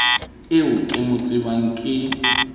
eo ke mo tsebang ke